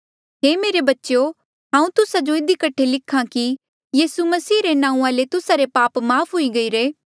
हे मेरे बच्चेयो हांऊँ तुस्सा जो इधी कठे लिख्हा कि यीसू मसीह रे नांऊँआं ले तुस्सा रे पाप माफ़ हुई गईरे